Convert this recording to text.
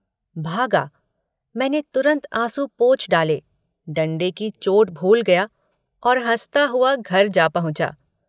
भागा। मैंने तुरन्त आँसू पोंछ डाले डंडे की चोट भूल गया और हँसता हुआ घर पर जा पहुँचा।